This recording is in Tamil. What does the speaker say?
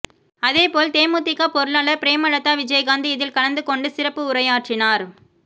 அதேபோல் தேமுதிக பொருளாளர் பிரேமலதா விஜயகாந்த் இதில் கலந்து கொண்டு சிறப்பு உரையாற்றினார்